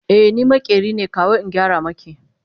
e ni maƙeri ne kawo in gyara maki